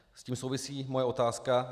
S tím souvisí moje otázka.